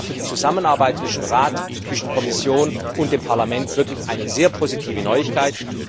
Das war für die Zusammenarbeit zwischen Rat, Kommission und Parlament wirklich eine sehr positive Neuigkeit.